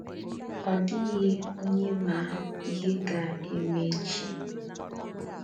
Ọ dịghị onye ma ihe ga - eme echi.